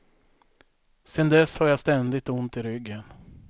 Sen dess har jag ständigt ont i ryggen.